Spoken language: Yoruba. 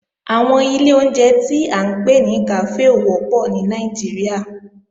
Àwọn ilé ìjẹun tí à ń pè ní kàfé ò wọ́pọ̀ ní Nàìjíríà